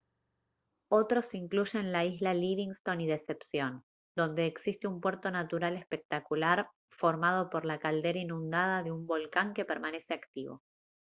otros incluyen la isla livingston y decepción donde existe un puerto natural espectacular formado por la caldera inundada de un volcán que permanece activo